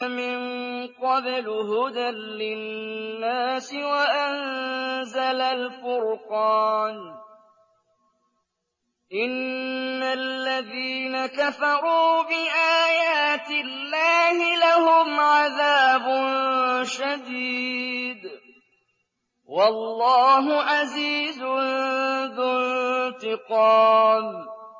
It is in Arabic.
مِن قَبْلُ هُدًى لِّلنَّاسِ وَأَنزَلَ الْفُرْقَانَ ۗ إِنَّ الَّذِينَ كَفَرُوا بِآيَاتِ اللَّهِ لَهُمْ عَذَابٌ شَدِيدٌ ۗ وَاللَّهُ عَزِيزٌ ذُو انتِقَامٍ